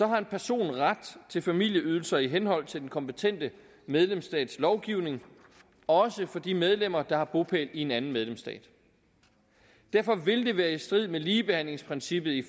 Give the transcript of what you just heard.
har en person ret til familieydelser i henhold til den kompetente medlemsstats lovgivning også for de medlemmer der har bopæl i en anden medlemsstat derfor vil det være i strid med ligebehandlingsprincippet i